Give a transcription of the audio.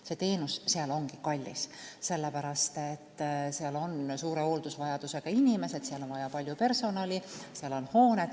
Sealne teenus ongi kallis, sellepärast, et seal on suure hooldusvajadusega inimesed, seal on vaja palju personali ja seal on hooned.